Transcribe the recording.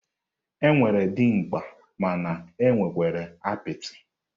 E nwere dimgba mana e nwekwara apịtị.